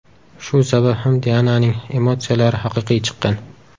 Shu sabab ham Diananing emotsiyalari haqiqiy chiqqan.